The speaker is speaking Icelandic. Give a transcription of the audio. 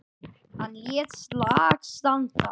Hann lét slag standa.